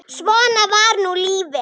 Svona var nú lífið.